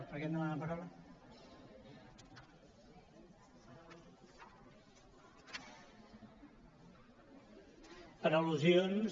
per al·lusions